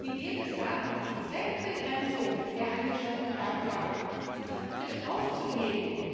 Denn hier geht es darum, die Zweckbegrenzung der angeschlossenen Datenbanken faktisch aufzuheben.